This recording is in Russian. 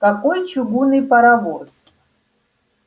какой чугунный паровоз